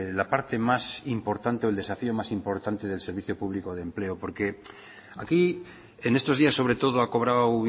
la parte más importante o el desafío más importante del servicio público de empleo porque aquí en estos días sobre todo ha cobrado